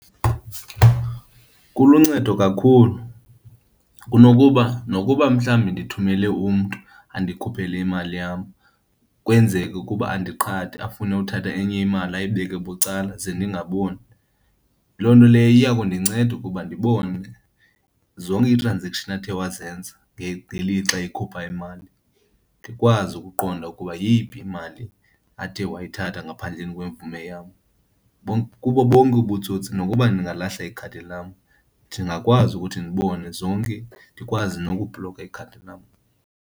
Kuluncedo kakhulu kunokuba nokuba mhlawumbi ndithumele umntu andikhuphele imali yam, kwenzeke ukuba andiqhathe afune uthatha enye imali ayibeke bucala ze ndingaboni, loo nto leyo iya kundinceda ukuba ndibone zonke ii-transaction athe wazenza ngelixa eyikhupha imali, ndikwazi ukuqonda ukuba yeyiphi imali athe wayithatha ngaphandleni kwevume yam. Kubo bonke ubutsotsi nokuba ndingalahla ikhadi lam, ndingakwazi ukuthi ndibone zonke ndikwazi nokubhloka ikhadi lam.